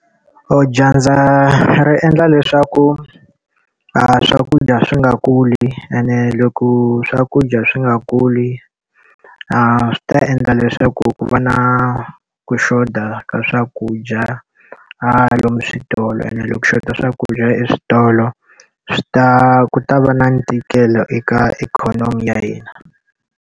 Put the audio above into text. Dyandza ri endla leswaku a swakudya swi nga kuli ene loko swakudya swi nga kuli, swi ta endla leswaku ku va na ku xota ka swakudya a lomu switolo ene loko xota swakudya eswitolo, swi ta ku ta va na ntikelo eka ikhonomi ya hina.